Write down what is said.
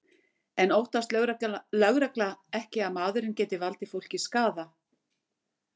En óttast lögregla ekki að maðurinn geti valdið fólki skaða?